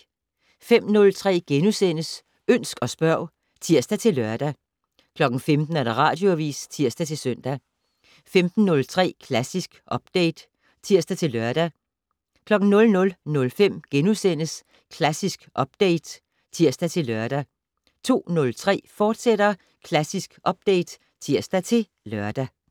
05:03: Ønsk og spørg *(tir-lør) 15:00: Radioavis (tir-søn) 15:03: Klassisk Update (tir-lør) 00:05: Klassisk Update *(tir-lør) 02:03: Klassisk Update, fortsat (tir-lør)